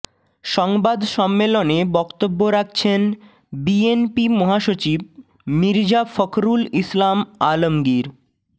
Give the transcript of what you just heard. সংবাদ সম্মেলনে বক্তব্য রাখছেন বিএনপি মহাসচিব মির্জা ফখরুল ইসলাম আলমগীর